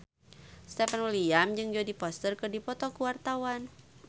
Stefan William jeung Jodie Foster keur dipoto ku wartawan